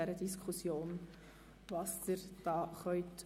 Art. 31e (neu) Rückweisung an die Kommission mit folgender Prüfungsauflage: